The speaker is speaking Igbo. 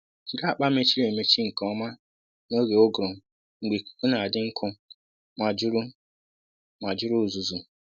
Jiri akpa mechiri emechi nke ọma n’oge uguru mgbe ikuku na-adị nkụ ma juru ma juru uzuzu